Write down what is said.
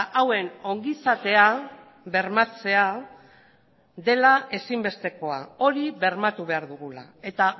hauen ongizatea bermatzea ezinbestekoa dela hori bermatu behar dugula eta